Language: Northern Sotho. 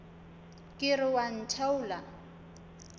ke re o a ntheola